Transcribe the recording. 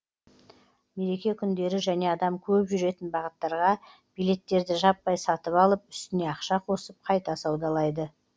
мереке күндері және адам көп жүретін бағыттарға билеттерді жаппай сатып алып үстіне ақша қосып қайта саудалайды